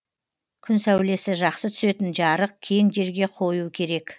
күн сәулесі жақсы түсетін жарық кең жерге қою керек